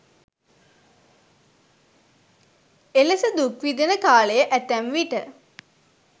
එලෙස දුක් විඳින කාලය ඇතැම්විට